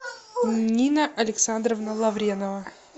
нина александровна лавренова